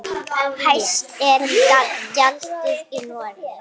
Hæst er gjaldið í Noregi.